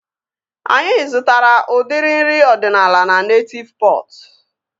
Anyị zụtara udiri nri ọdịnala na Netịv Pọt